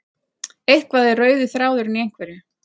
Eitthvað er rauði þráðurinn í einhverju